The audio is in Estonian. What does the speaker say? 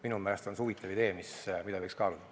Minu meelest on see huvitav idee, mida võiks kaaluda.